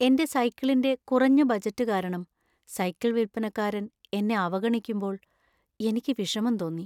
എന്‍റെ സൈക്കിളിന്‍റെ കുറഞ്ഞ ബജറ്റ് കാരണം സൈക്കിൾ വിൽപ്പനക്കാരൻ എന്നെ അവഗണിക്കുമ്പോൾ എനിക്ക് വിഷമം തോന്നി .